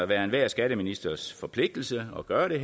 være enhver skatteministers forpligtelse at gøre det